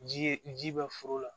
Ji ye ji bɛ foro la